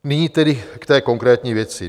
Nyní tedy k té konkrétní věci.